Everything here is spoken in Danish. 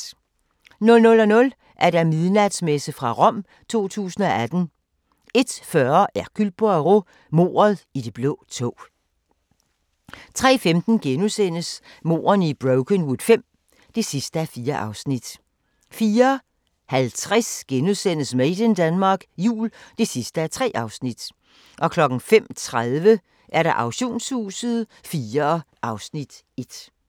00:00: Midnatsmesse fra Rom 2018 01:40: Hercule Poirot: Mordet i det blå tog 03:15: Mordene i Brokenwood V (4:4)* 04:50: Made in Denmark Jul (3:3)* 05:30: Auktionshuset IV (Afs. 1)